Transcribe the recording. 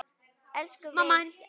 Elsku Veiga.